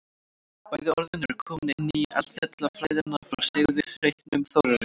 bæði orðin eru komin inn í eldfjallafræðina frá sigurði heitnum þórarinssyni